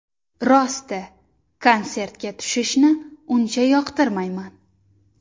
Rosti, konsertga tushishni uncha yoqtirmayman.